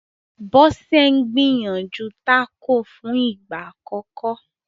Bose n gbìyànjú Taco fún ìgbà àkókò